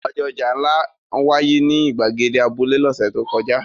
Ọjọ́ ọjà ńlá wáyé ní ìgbàgede abúlé lọ́sẹ̀ tó kọjá.